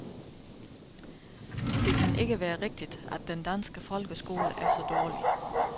Det kan ikke være rigtigt, at den danske folkeskole er så dårlig.